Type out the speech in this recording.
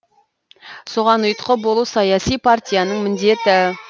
соған ұйытқы болу саяси партияның міндеті